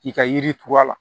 K'i ka yiri turu a la